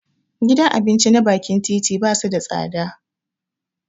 Gidan abinci na bakin titi basu da tsada